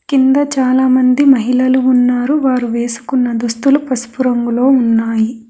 కింద చాలామంది మహిళలు ఉన్నారు వారు వేసుకున్న దుస్తులు పసుపు రంగులో ఉన్నాయి.